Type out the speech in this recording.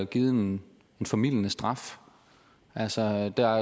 givet en formildende straf altså der